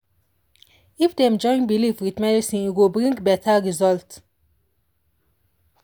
if dem join belief with medicine e go bring better result.